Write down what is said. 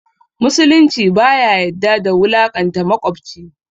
Musulunci baya yadda da wulaƙanta maƙwabci